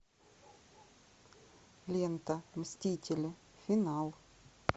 лента мстители финал